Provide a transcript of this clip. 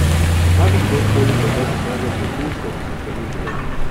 Zakaj bi kdor koli hotel pokazati okužbo, ki je ni bilo?